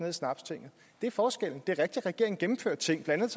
i snapstinget det er forskellen det er rigtigt at regeringen gennemførte ting blandt